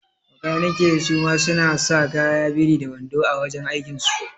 Makanikai suma suna sa kaya biri da wando a wajan aikin so